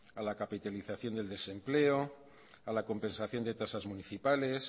a la capitalización del desempleo a la compensación de tasas municipales